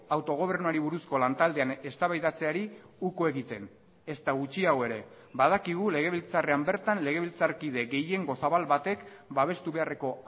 autogobernuari buruzko lantaldean eztabaidatzeari uko egiten ezta gutxiago ere badakigu legebiltzarrean bertan legebiltzarkide gehiengo zabal batek babestu beharreko